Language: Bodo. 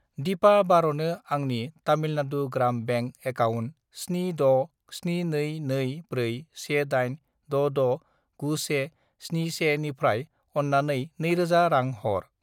दिपा बार'नो आंनि तामिलनाडु ग्राम बेंक एकाउन्ट 76722418669171 निफ्राय अन्नानै 2000 रां हर।